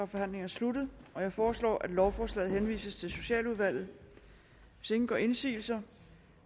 forhandlingen sluttet jeg foreslår at lovforslaget henvises til socialudvalget hvis ingen gør indsigelse